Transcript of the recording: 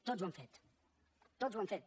tots ho han fet tots ho han fet